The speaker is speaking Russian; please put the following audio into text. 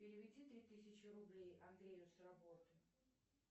переведи три тысячи рублей андрею с работы